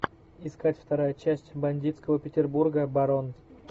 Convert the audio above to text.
искать вторая часть бандитского петербурга барон